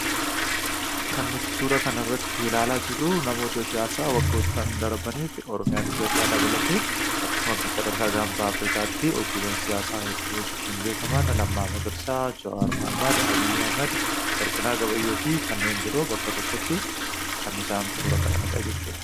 Kan suuraa kana irratti ilaalla jiruu abbootaan siyasaa waggootaan darbaniidarbaniif Oromiyaafi Itoophiyaa dabalatee akkasumaas akka ganfaa Afirikaatti hojiiwwan siyasaa hojechuun beekaman Lammaa Magarsaa, Juwwar Muhameed, Abiy Ahimeed, Warqinaa Gabayyoofi kannen biroo bakka tokkotti kan isaan suuraa ka'anidha jechuudha.